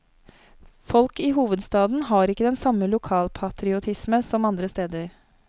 Folk i hovedstaden har ikke den samme lokalpatriotisme som andre steder.